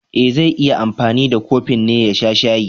E, zai yi anfani da kofin ne ya sha shayi.